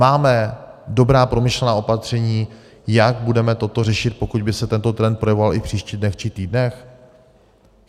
Máme dobrá, promyšlená opatření, jak budeme toto řešit, pokud by se tento trend projevoval i v příštích dnech či týdnech?